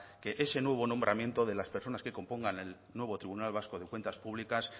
que ese nuevo nombramiento de las personas que compongan el nuevo tribunal vasco de cuentas públicas